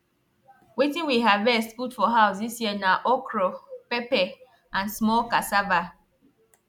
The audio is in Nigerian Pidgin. wetin we harvest put for house dis year na okro pepper and small cassava